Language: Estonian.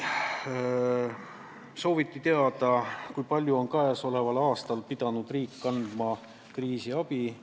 Sooviti teada, kui palju on riik käesoleval aastal pidanud andma kriisiabi.